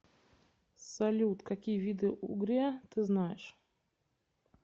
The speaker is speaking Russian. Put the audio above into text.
салют какие виды угрия ты знаешь